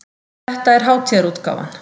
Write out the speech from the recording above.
Þetta er hátíðarútgáfan.